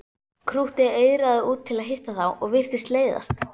Krúttið eigraði út til að hitta þá og virtist leiðast.